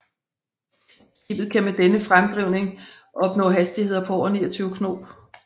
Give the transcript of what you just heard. Skibet kan med denne fremdrivning opnå hastigheder på over 29 knob